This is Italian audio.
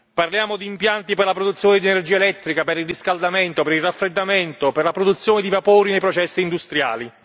Parliamo di impianti per la produzione di energia elettrica, per il riscaldamento, per il raffreddamento, per la produzione di vapori nei processi industriali.